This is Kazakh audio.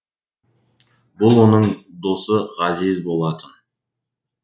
бұл оның досы ғазиз болатын